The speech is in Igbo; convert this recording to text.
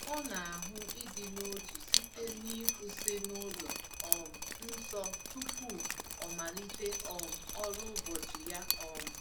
O na-ahụ ịdị n’otu site n’ịkwụsị n’ụlọ um nsọ tupu o malite um ọrụ ụbọchị ya. um